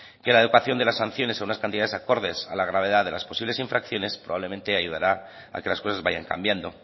que la adecuación de las sanciones a unas cantidades acordes a la gravedad de las posibles infracciones probablemente ayudará a que las cosas vayan cambiando